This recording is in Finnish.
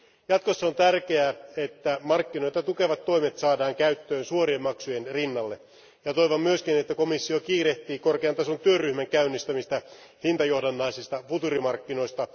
Jatkossa on tärkeää, että markkinoita tukevat toimet saadaan käyttöön suorien maksujen rinnalle. Toivon myös, että komissio kiirehtii korkean tason työryhmän käynnistämistä hintajohdannaisista futuurimarkkinoista.